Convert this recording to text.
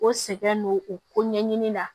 O sɛgɛn don o ko ɲɛɲini la